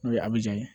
N'o ye a bi ja